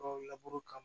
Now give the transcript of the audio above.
laburu kama